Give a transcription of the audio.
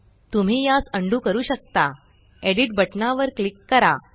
तुम्ही यास अंडू करू शकता एडिट एडिट बटना वर क्लिक करा